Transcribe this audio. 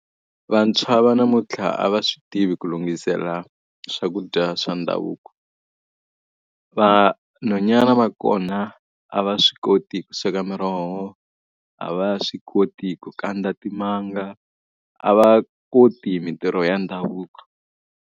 Vantshwa va namuntlha a va swi tivi ku lunghisela swakudya swa ndhavuko. Vanhwanyana va kona, a va swi koti ku sweka miroho, a va swi koti ku kandza timanga, a va koti hi mintirho ya ndhavuko.